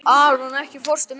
Aron, ekki fórstu með þeim?